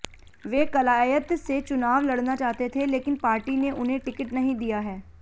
वे कलायत से चुनाव लड़ना चाहते थे लेकिन पार्टी ने उन्हें टिकट नहीं दिया है